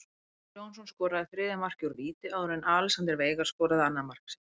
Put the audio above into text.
Viktor Jónsson skoraði þriðja markið úr víti áður en Alexander Veigar skoraði annað mark sitt.